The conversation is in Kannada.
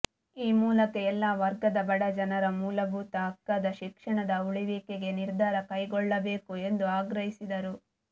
ಈ ಮೂಲಕ ಎಲ್ಲಾ ವರ್ಗದ ಬಡಜನರ ಮೂಲಭೂತ ಹಕ್ಕಾದ ಶಿಕ್ಷಣದ ಉಳಿವಿಗೆ ನಿರ್ಧಾರ ಕೈಗೊಳ್ಳಬೇಕು ಎಂದು ಆಗ್ರಹಿಸಿದರು